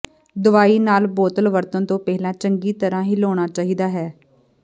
ਦਵਾਈ ਨਾਲ ਬੋਤਲ ਵਰਤਣ ਤੋਂ ਪਹਿਲਾਂ ਚੰਗੀ ਤਰ੍ਹਾਂ ਹਿਲਾਉਣਾ ਚਾਹੀਦਾ ਹੈ